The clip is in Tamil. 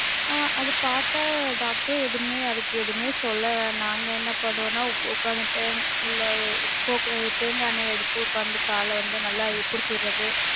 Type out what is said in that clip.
ஆஹ் அத பாத்த doctor எதுவுமேஅதுக்கு எதுவுமே சொல்லல. நாங்க என்ன பண்ணுவோம்னா உக்காந்துட்டு இல்ல coconut தேங்கா எண்ணெய எடுத்து உக்காந்து கால நல்ல பிடிச்சி விடுறது.